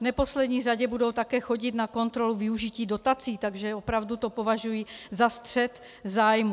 V neposlední řadě budou také chodit na kontrolu využití dotací, takže opravdu to považuji za střet zájmů.